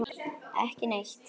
Ekki neitt.